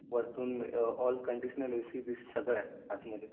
वरतून आत conditional AC बीसी सगळं आहे आतमध्ये